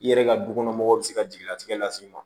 I yɛrɛ ka du kɔnɔ mɔgɔw bɛ se ka jigilatigɛ las'i ma